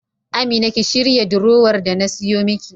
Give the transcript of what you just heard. Amina ki shirya durowar da na siyo miki.